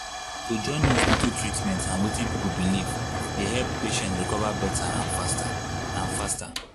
to join hospital treatment and wetin people believe dey help patient recover better and faster. and faster.